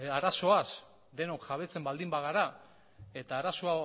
arazoaz denok jabetzen baldin bagara eta arazoa